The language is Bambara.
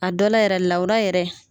A dɔ la yɛrɛ lawura yɛrɛ